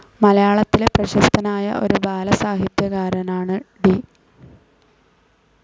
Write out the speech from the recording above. മലയാളത്തിലെ പ്രശസ്തനായ ഒരു ബാലസാഹിത്യകാരനാണ് ടി.